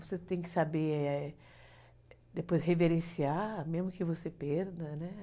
Você tem que saber, depois reverenciar, mesmo que você perda, né?